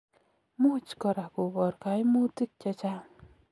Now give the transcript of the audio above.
Muuch koraa kobar kaimutiik chechang